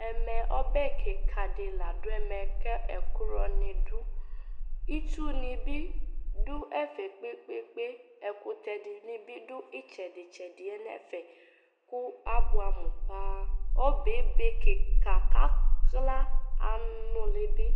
Ɛmɛ ɔbɛ kɩka dɩ la dʋ ɛmɛ , kɛ ɛkioɔnɩ dʋ Itsunɩ bɩ dʋ ɛfɛ kpekpekpe , ɛkʋtɛ dɩnɩ bɩ dʋ ɩtsɛdïtsɛdɩɛ n'ɛfeɛ kʋ ,abʋɛamʋ paa Ɔbɛɛ ebe kɩka ,k'akla ,anʋlɩ bɩ